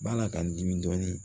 Bala ka n dimi dɔɔnin